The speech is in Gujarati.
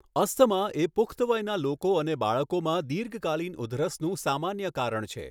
અસ્થમા એ પુખ્ત વયના લોકો અને બાળકોમાં દીર્ઘકાલીન ઉધરસનું સામાન્ય કારણ છે.